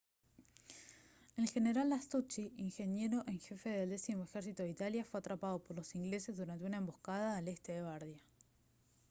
el general lastucci ingeniero en jefe del décimo ejército de italia fue atrapado por los ingleses durante una emboscada al este de bardia